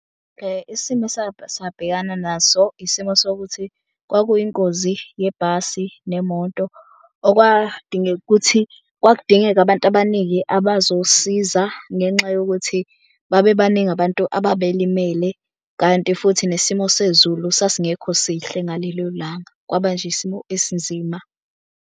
Isimo sabhekana naso isimo sokuthi kwakuyingozi yebhasi nemoto. Okwadingeka ukuthi kwakudingeka abantu abaningi abazosiza ngenxa yokuthi babe baningi abantu ababelimele kanti futhi nesimo sezulu sasingekho sihle ngalelo langa. Kwaba nje isimo esinzima.